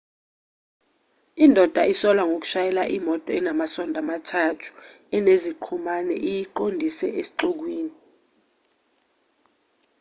indoda isolwa ngoshayela imoto enamasondo amathathu eneziqhumane iyiqondise esixukwini